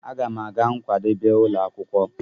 M ga-aga nkwadebe ụlọ akwụkwọ.